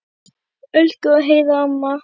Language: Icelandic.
Elsku Heiða amma.